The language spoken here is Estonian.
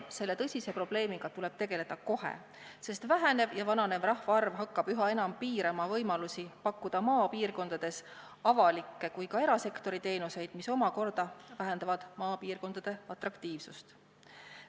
Selle tõsise probleemiga tuleb tegeleda kohe, sest vähenev ja vananev rahvastik hakkab üha enam piirama võimalusi pakkuda maapiirkondades nii avaliku kui ka erasektori teenuseid, mis omakorda vähendab maapiirkondade atraktiivsust.